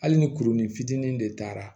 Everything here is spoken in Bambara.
Hali ni kurunin fitinin de taara